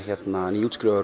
nýútskrifaður